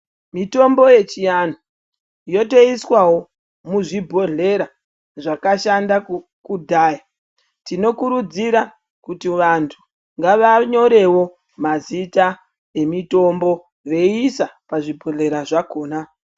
Mitombo yechiantu yotoiswawo muzvibhodhleya zvakashanda kudhaya tinokurudzirawo kuti antu ngavanyorewo mazita emitombo veisa pazvibhodhlera zvakona.